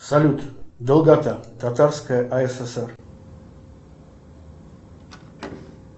салют долгота татарская асср